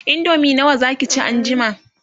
indomie nawa Zaki ci an jima?